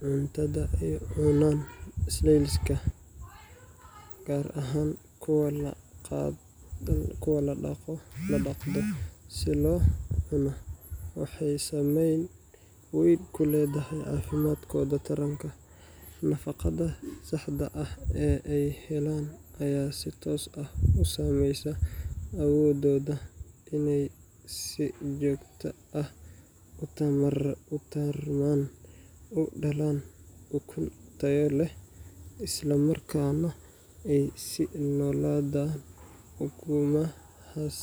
Cuntada ay cunaan snails-ka gastropods, gaar ahaan kuwa la dhaqdo si loo cuno, waxay saameyn weyn ku leedahay caafimaadkooda taranka. Nafaqada saxda ah ee ay helaan ayaa si toos ah u saameysa awooddooda inay si joogto ah u tarmaan, u dhalaan ukun tayo leh, islamarkaana ay sii noolaadaan ukumahaas